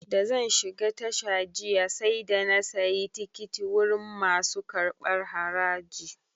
Da zan shiga tasha jiya, sai da na sayi tikiti wurin masu karɓar haraji.